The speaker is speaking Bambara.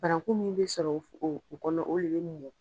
Fararankulu min be sɔrɔ o kɔnɔ olu be nin ɲɛ